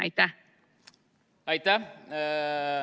Aitäh!